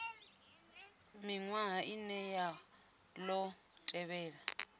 miṅwaha ine ya ḓo tevhela